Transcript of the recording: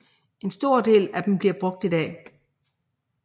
En stor del af dem bliver brugt i dag